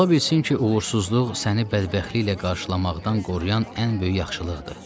Ola bilsin ki, uğursuzluq səni bədbəxtliklə qarşılamaqdan qoruyan ən böyük yaxşılıqdır.